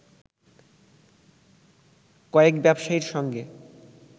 কয়েক ব্যবসায়ীর সঙ্গে